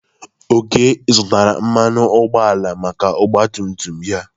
Oke zụtara mmanụ ụgbọala maka ọgba tum tum ya.